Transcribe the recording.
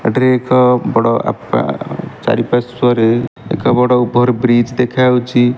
ଏଠି ରେ ଏକ ବଡ଼ ଆପା ଚାରିପାର୍ଶ୍ୱରେ ଏକ ବଡ଼ ଓଭର ବ୍ରିଜ ଦେଖା ଯାଉଚି।